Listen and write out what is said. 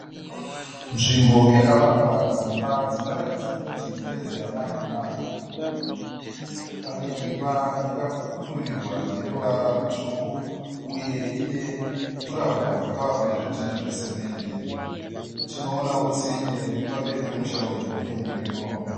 Nzvimbo yakavakwa dzimba dzinoratidza kuti ndedze manje manje. Pane imba yakapfurirwa neruvara rutsvuku uye ine jurahoro rakavakwa nezvidhinha zvesemende. Tioonawo tsime riri pamberi pomusha uyu uye muriwo.